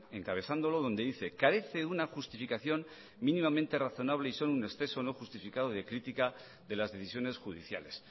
encabezándolo donde dice carece de una justificación mínimamente razonable y solo un exceso no justificado de crítica de las decisiones judiciales